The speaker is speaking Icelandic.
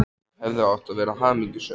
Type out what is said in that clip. Þau hefðu átt að vera hamingjusöm.